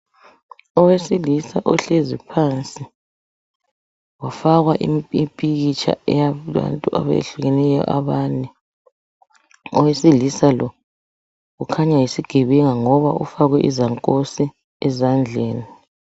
Owesilisa ohlezi phansi wafakwa imipikitsha yabantu abehlukeneyo abane, owesilisa lo khanya yisigebenga ngoba ufakwe izankosi ezandleni.